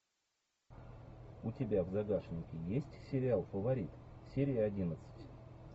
у тебя в загашнике есть сериал фаворит серия одиннадцать